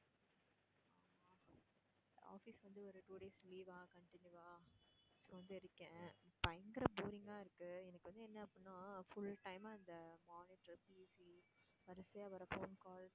office வந்து ஒரு two days leave ஆ continue ஆ so வந்து இருக்கேன் பயங்கர boring ஆ இருக்கு எனக்கு வந்து என்ன அப்படின்னா full time ஆ இந்த monitor PC வரிசையா வர்ற phone call